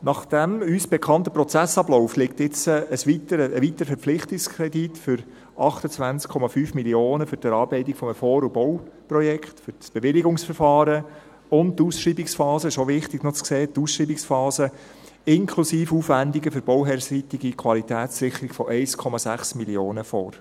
Nach dem uns bekannten Prozessablauf liegt nun ein weiterer Verpflichtungskredit von 28,5 Mio. Franken für die Erarbeitung eines Vor- und Bauprojekts, für das Bewilligungsverfahren und – das ist auch noch wichtig zu sehen – für die Ausschreibungsphase, inklusive Aufwendungen für die bauherrenseitige Qualitätssicherung von 1,6 Mio. Franken, vor.